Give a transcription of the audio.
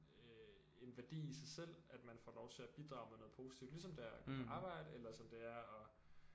Øh en værdi i sig selv at man får lov til at bidrage med noget positivt ligesom det er at gå på arbejde eller som det er at